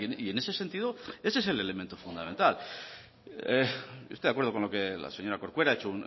y en ese sentido ese es el elemento fundamental yo estoy de acuerdo con lo que la señora corcuera ha hecho